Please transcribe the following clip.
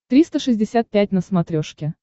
триста шестьдесят пять на смотрешке